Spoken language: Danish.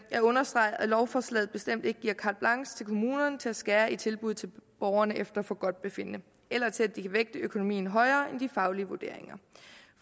jeg understreger at lovforslaget bestemt ikke giver carte blanche til kommunerne til at skære i tilbud til borgerne efter forgodtbefindende eller til at de kan vægte økonomien højere end de faglige vurderinger